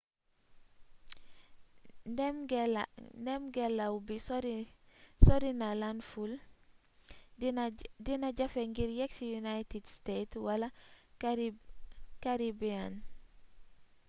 ndéémngélaw bi sorina landfull dina jafe ngir yéksi united states wala caribbean